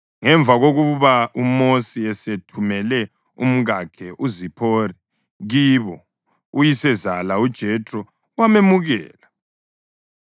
Ngemva kokuba uMosi esethumele umkakhe uZiphora kibo, uyisezala uJethro wamemukela,